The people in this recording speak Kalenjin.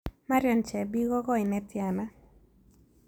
Marion chebii ko goi ne tiana